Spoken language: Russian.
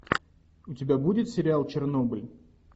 у тебя будет сериал чернобыль